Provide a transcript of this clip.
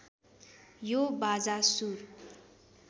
यो बाजा सुर